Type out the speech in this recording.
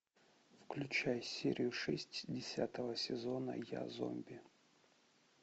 включай серию шесть десятого сезона я зомби